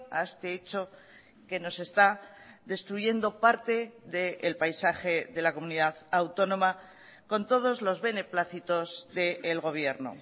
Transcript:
a este hecho que nos está destruyendo parte del paisaje de la comunidad autónoma con todos los beneplácitos del gobierno